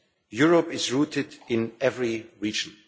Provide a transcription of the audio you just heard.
Europe is rooted in every region.